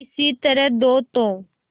किसी तरह दो तो